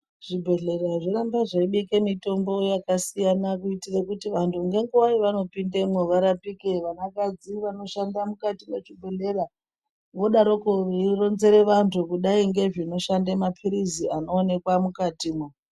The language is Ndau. Zvibhedhlera zvinoramba zveibeke mutombo yakasiya kuitira kuti vantu ngenguwa yaanopindamwo varapike vanakadzi vanoshanda mukati mwezvibhedhlera vodaroko veironzere vantu kudai ngezvinoshande mapirizi anoonekwa mukatimwo.